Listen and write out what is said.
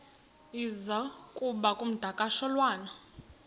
iza kuba ngumdakasholwana